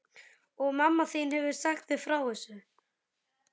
Og mamma þín hefur sagt þér frá þessu?